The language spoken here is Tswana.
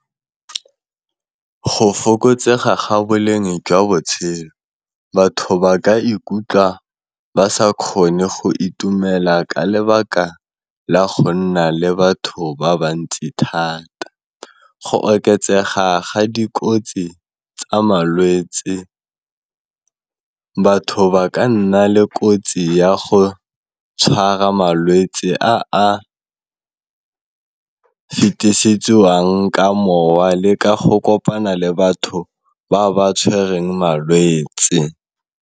Go fokotsega ga boleng jwa botshelo, batho ba ka ikutlwa ba sa kgone go itumela ka lebaka la go nna le batho ba ba ntsi thata, go oketsega ga dikotsi tsa malwetse batho ba ka nna le kotsi ya go tshwara malwetse a fetisetsiwang ka mowa le ka go kopana le batho ba ba tshwereng malwetse.